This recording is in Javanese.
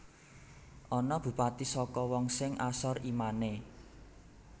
Ana Bupati saka wong sing asor imane